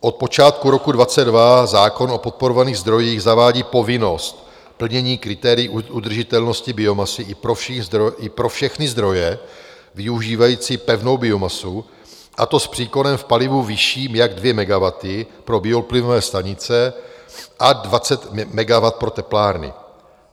Od počátku roku 2022 zákon o podporovaných zdrojích zavádí povinnost plnění kritérií udržitelnosti biomasy i pro všechny zdroje využívající pevnou biomasu, a to s příkonem v palivu vyšším jak 2 MW pro bioplynové stanice a 20 MW pro teplárny.